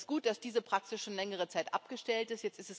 Das ist gut, dass diese Praxis schon längere Zeit abgestellt ist.